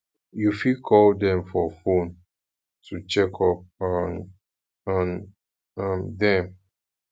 um you fit call dem for phone to check up um on um dem